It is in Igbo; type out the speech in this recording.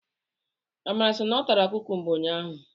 Amara sị na ọ tara kukumba ụnyaahụ.